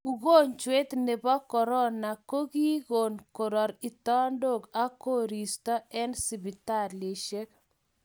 ukonjwet nebio korona ko ki kon korar kitandok ak koristo eng siptalishek